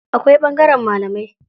Akwai ɓangaren malamai.